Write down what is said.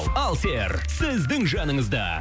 алсер сіздің жаныңызда